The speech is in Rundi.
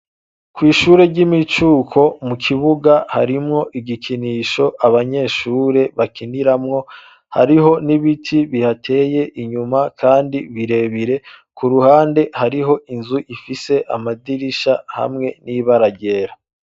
Kw'ishure ry'imicuko, mu kibuga, harimwo igikinisho, abanyeshure bakiniramwo; hariho n'ibiti bihateye, inyuma, kandi birebire; ku ruhande, hariho inzu, ifise amadirisha, hamwe n'ibara ryera.